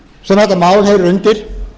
sem þetta mál heyrir undir